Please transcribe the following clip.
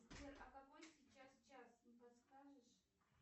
сбер а какой сейчас час не подскажешь